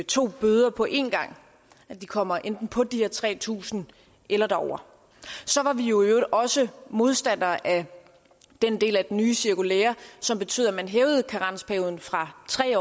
to bøder på en gang at de kommer enten på de her tre tusind eller derover så var vi i øvrigt også modstandere af den del af det nye cirkulære som betød at man hævede karensperioden fra tre